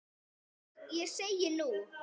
Og ég segi, nú?